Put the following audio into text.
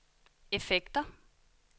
effekter